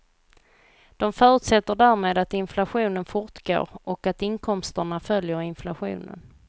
De förutsätter därmed att inflationen fortgår och att inkomsterna följer inflationen.